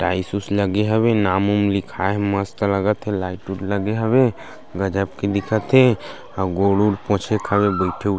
tiles उस लगे हवे नाम उम्म लिखाय मस्त लगत हे लाइट उट लगे हवे गज़ब के दिखत हे अऊ गोड़-उड़ पोंछे के खातिर बईथे उईथे--